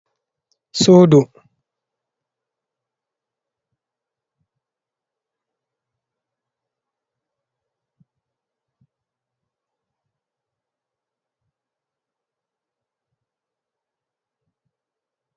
sudu, dum babal walugo un da carpet do ve'iti, be panti bokko bokko, be crem, be danejum. Sudo mai be window be pop.